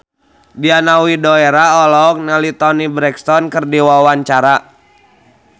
Diana Widoera olohok ningali Toni Brexton keur diwawancara